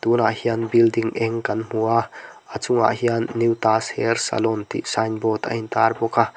tunah hian building eng kan hmu a a chungah hian new taj hair salon tih signboard a in tar bawk a.